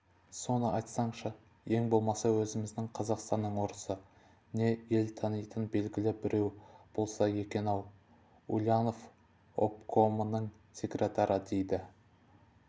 соны айтсаңшы ең болмаса өзіміздің қазақстанның орысы не ел танитын белгілі бреу болса екен-ау ульянов обкомының секретары дейді